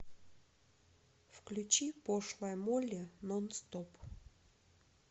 включи пошлая молли нон стоп